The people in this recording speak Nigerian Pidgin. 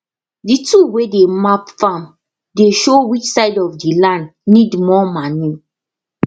the tool wey dey map farm dey show which side of the land need more manure